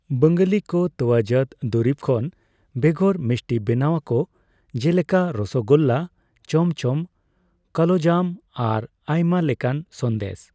ᱵᱟᱝᱟᱞᱤ ᱠᱚ ᱛᱚᱣᱟᱡᱟᱹᱛ ᱫᱩᱨᱤᱵ ᱠᱷᱚᱱ ᱵᱮᱜᱟᱨ ᱢᱤᱥᱴᱤ ᱵᱮᱱᱟᱣ ᱟᱠᱚ, ᱡᱮᱞᱮᱠᱟ ᱨᱚᱥᱚᱜᱳᱞᱞᱟ, ᱪᱚᱢᱚ ᱪᱚᱢᱚ, ᱠᱟᱞᱳᱡᱟᱢ ᱟᱨ ᱟᱭᱢᱟ ᱞᱮᱠᱟᱱ ᱥᱚᱱᱫᱮᱥ᱾